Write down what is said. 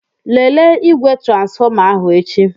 Lelee igwe transfọma ahụ echi.